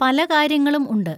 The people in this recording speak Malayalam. പലകാര്യങ്ങളും ഉണ്ട്.